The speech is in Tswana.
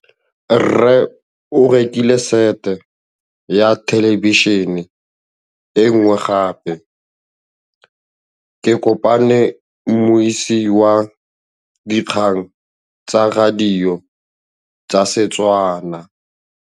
Rre o rekile sete ya thêlêbišênê e nngwe gape. Ke kopane mmuisi w dikgang tsa radio tsa Setswana.